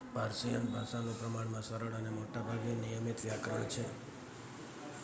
Persian ભાષાનું પ્રમાણમાં સરળ અને મોટા ભાગે નિયમિત વ્યાકરણ છે